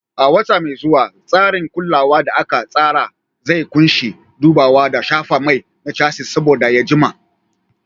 A wata mai zuwa, tsarin kulawa da aka tsara zai ƙunshi dubawa da shafa mai na chassis saboda ya jima.